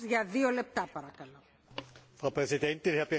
Frau Präsidentin, Herr Berichterstatter, meine Damen und Herren!